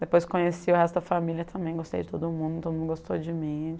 Depois conheci o resto da família também, gostei de todo mundo, todo mundo gostou de mim.